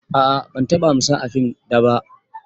A'a ban taɓa amsa a fim daba.